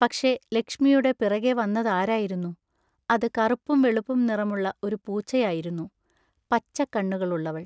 പക്ഷെ ലക്ഷ്മിയുടെ പിറകെ വന്നതാരായിരുന്നു? അത് കറുപ്പും വെളുപ്പും നിറമുള്ള ഒരു പൂച്ചയായിരുന്നു, പച്ചക്കണ്ണുകളുള്ളവൾ.